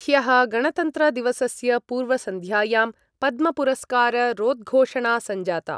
ह्यः गणतन्त्रदिवसस्य पूर्वसन्ध्यायां पद्मपुरस्काररोद्घोषणा सञ्जाता।